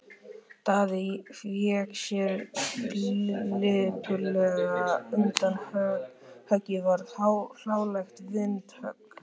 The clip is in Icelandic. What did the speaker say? Daði vék sér lipurlega undan og höggið varð hlálegt vindhögg.